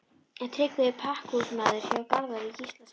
Tryggvi er pakkhúsmaður hjá Garðari Gíslasyni.